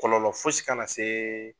Kɔlɔlɔ fosi kana se